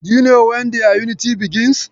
Do you know when their unity begins?